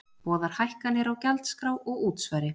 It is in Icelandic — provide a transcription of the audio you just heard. Boðar hækkanir á gjaldskrá og útsvari